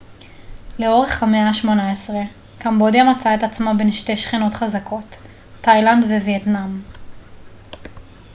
לאורך המאה ה-18 קמבודיה מצאה את עצמה בין שתי שכנות חזקות תאילנד ווייטנאם